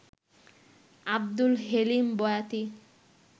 Abdul Helim Boyati